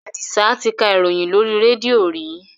Àdìsá ti ka ìròyìn lóri rédíò rí.